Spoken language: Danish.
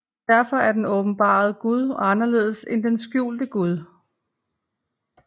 Derfor er den åbenbarede Gud anderledes end den skjulte Gud